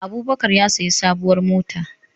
Abubakar ya sayi sabuwar mota